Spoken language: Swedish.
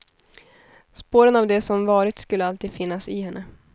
Spåren av det som varit skulle alltid finnas i henne.